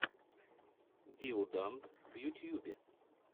диоданд в ютьюбе